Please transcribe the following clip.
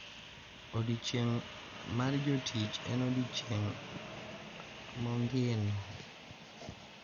Odiechieng` mar jotich en odiechieng` mongino.